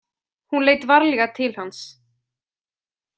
Hún leit varlega til hans.